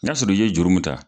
N'a sɔrɔ i ye juru mun ta.